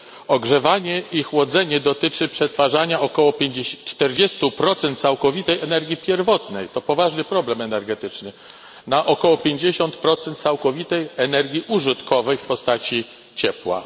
Ogrzewanie i chłodzenie dotyczy przetwarzania około 40 całkowitej energii pierwotnej to poważny problem energetyczny na około 50 całkowitej energii użytkowej w postaci ciepła.